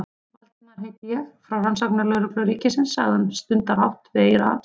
Valdimar heiti ég, frá Rannsóknarlögreglu ríkisins- sagði hann stundarhátt við eyra hans.